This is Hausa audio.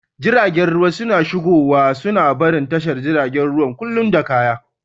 Jiragen ruwa suna shigowa suna barin tashar jiragen ruwa kullum da kaya.